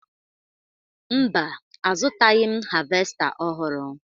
Mba, azụtaghị m havesta ọhụrụ